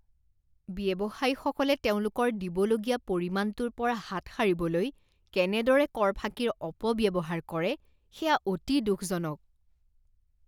ব্যৱসায়ীসকলে তেওঁলোকৰ দিবলগীয়া পৰিমাণটোৰ পৰা হাত সাৰিবলৈ কেনেদৰে কৰ ফাঁকিৰ অপব্যৱহাৰ কৰে সেয়া অতি দুখজনক।